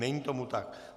Není tomu tak.